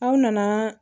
Aw nana